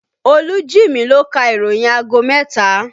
Olú Jimi ló ka ìròyìn aago mẹ́ta